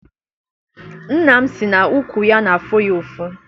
Nna m si na ụkwụ ya n'afụ ya ụfụ.